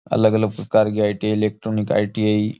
अलग अलग प्रकार की I T I electronic ITI --